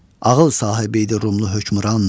Ağıl sahibi idi Rumun hökmran.